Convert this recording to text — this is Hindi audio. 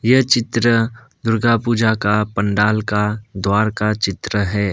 ये चित्र दुर्गापूजा का पंडाल का द्वार का चित्र है।